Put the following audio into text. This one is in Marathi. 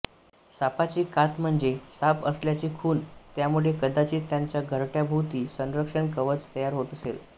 सापाची कात म्हणजे साप असल्याची खुण त्यामुळे कदाचित् त्याच्या घरट्याभोवती संरक्षण कवच तयार होत असेल